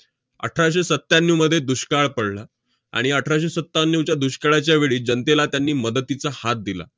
अठराशे सत्याण्णवमध्ये दुष्काळ पडला, आणि अठराशे सत्याण्णवच्या दुष्काळाच्या वेळी जनतेला त्यांनी मदतीचा हात दिला.